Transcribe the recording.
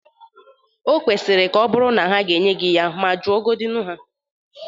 O kwesiri ọbụrụ na ha ga-enye gị ya. Ma juogodi ha.